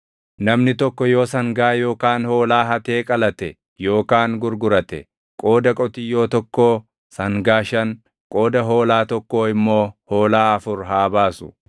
“Namni tokko yoo sangaa yookaan hoolaa hatee qalate yookaan gurgurate, qooda qotiyyoo tokkoo sangaa shan, qooda hoolaa tokkoo immoo hoolaa afur haa baasu.